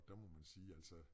Der må man sige altså